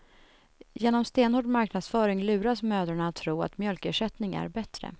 Genom stenhård marknadsföring luras mödrarna att tro att mjölkersättning är bättre.